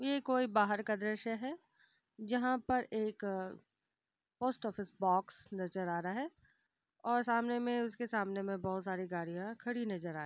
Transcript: यह कोई बाहर का दृश्य है जहाँ पर एक पोस्ट ऑफिस बॉक्स नजर आ रहा है और सामने में उसके सामने मे बहुत सारी गाड़ियां खड़ी नजर आ रही हैं।